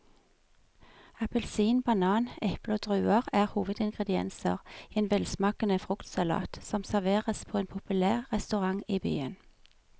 Appelsin, banan, eple og druer er hovedingredienser i en velsmakende fruktsalat som serveres på en populær restaurant i byen.